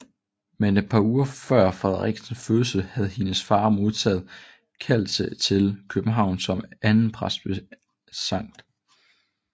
Men et par uger før Frederikkes fødsel havde hendes far modtaget kaldelse til København som andenpræst ved Skt